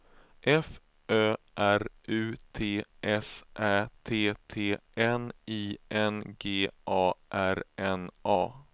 F Ö R U T S Ä T T N I N G A R N A